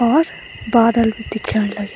और बादल भी दिख्याण लग्यां।